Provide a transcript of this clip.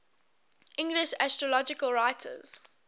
english astrological writers